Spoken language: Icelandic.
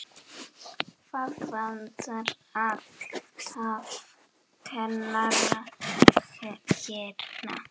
Það vantar alltaf kennara hérna.